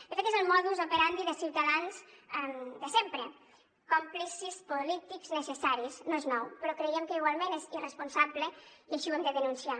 de fet és el modus operandide ciutadans de sempre còmplices polítics necessaris no és nou però creiem que igualment és irresponsable i així ho hem de denunciar